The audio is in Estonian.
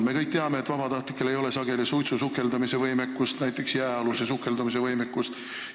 Me kõik teame, et vabatahtlikel ei ole sageli suitsusukeldumise ja näiteks jääaluse sukeldumise võimekust.